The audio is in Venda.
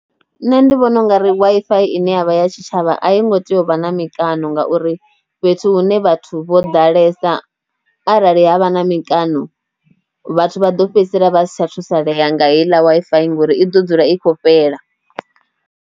Nṋe ndi vhona ungari Wi-Fi ine yavha ya tshitshavha a i ngo tea u vha na mikano ngauri fhethu hune vhathu vho ḓalesa arali havha na mikano vhathu vha ḓo fhedzisela vhasi tsha thusalea nga heiḽa Wi-Fi ngori i ḓo dzula i khou fhela.